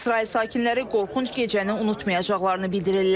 İsrail sakinləri qorxunc gecəni unutmayacaqlarını bildirirlər.